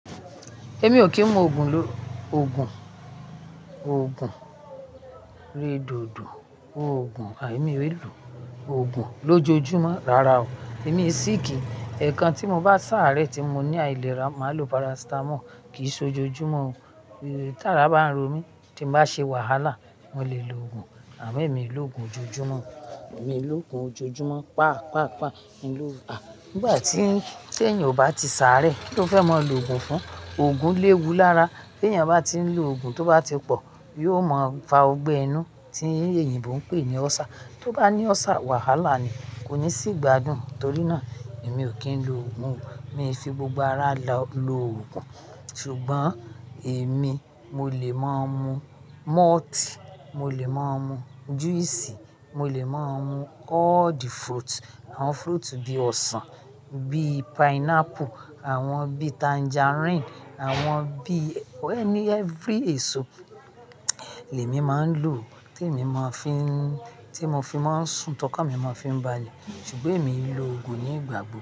Èmi ò kí ń mu ògùn ló, ògùn, ògùn redodo, ògùn àì mí ré lù, ògùn lójoojúmọ́, rárá o. Èmi ń síìkì, ẹ̀kan tí mo bá sáré tí mo ní àìlera, màá lo parasitamọ́ọ̀ kìí ṣe ojoojúmọ́ o. Tí ara bá ń ro mí, tí bá ṣe wàhálà, mo lè lo ògùn, àmọ́ èmi ò lò ògùn ojoojúmọ́, èmi ò lò ògùn ojoojúmọ́ pá pápá mi lò bá. Nígbà tí, tí èèyàn ò bá ti sáré, kí ló fẹ́ mọ lò ògùn fún? Ògùn léwu lára, tí èèyàn bá ti ń lo ògùn, tó bá ti pọ̀, yóò mọ fa ọgbẹ́ inú tí èyí èyìnbo ń pè ní ulcer. Tí ó bá ní ulcer, wàhálà ni, kò ní sìí gbádùn. Nítorí náà, èmi ò kí ń lo ògùn o. Èmi fi gbogbo ara lò lo ògùn. Ṣùgbọ́n èmi mo lè máa mu malt, mo lè máa mu juice, mo lè máa mu all the fruit, àwọn fruit bí i ọsàn, bíi pineapple, àwọn bíi tangerine, àwọn bíi, ẹni every èso lè mi máa ń lò tí èmi máa ń fi ń, tí mo fi máa ń sùn tọkọ̀ mi máa ń fi ń balẹ̀. Ṣùgbọ́n èmi ò lò ògùn ní ìgbàgbọ́.